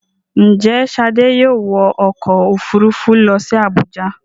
Ǹjẹ́ Ṣadé yóò wọ ọkọ̀-òfurufú lọ sí Àbújá.